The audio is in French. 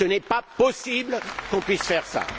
Ce n'est pas possible qu'on puisse faire cela.